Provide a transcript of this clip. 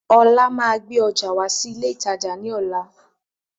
Ọlá máa gbé ọjà wá sí ilé ìtajà ni ọ̀la.